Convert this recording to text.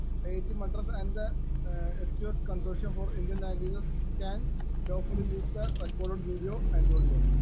Speaker 1 IIT Madras and the സ്‌2സ്‌ consortium for Indian languages can properly used the record video and audio.